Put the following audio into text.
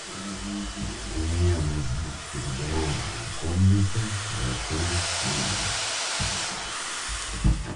мне нужна переговорная комната в отеле смоленск